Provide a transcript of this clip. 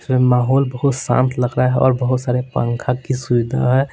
माहौल बहुत शांत लग रहा है और बहुत सारे पंखा की सुविधा है।